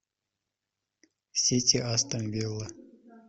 сити астон вилла